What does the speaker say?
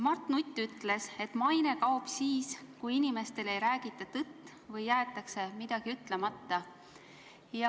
Mart Nutt ütles, et maine kaob siis, kui inimestele ei räägita tõtt või jäetakse midagi ütlemata.